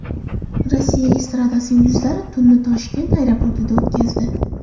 Rossiya estradasi yulduzlari tunni Toshkent aeroportida o‘tkazdi.